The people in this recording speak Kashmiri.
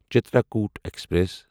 چِترکوٹ ایکسپریس